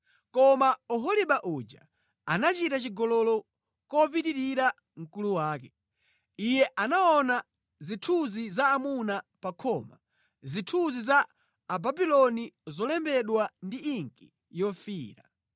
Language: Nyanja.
“Koma Oholiba uja anachita chigololo kopitirira mkulu wake. Iye anaona zithunzi za amuna pa khoma, zithunzi za Ababuloni zolembedwa ndi inki yofiira,